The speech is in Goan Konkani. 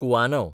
कुवानव